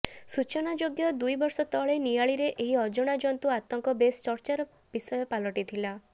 ସୂଚନାଯୋଗ୍ୟ ଦୁଇ ବର୍ଷ ତଳେ ନିଆଳିରେ ଏହି ଅଜଣା ଜନ୍ତୁ ଆତଙ୍କ ବେଶ ଚର୍ଚ୍ଚାର ବିଷୟ ପାଲଟିଥିଲା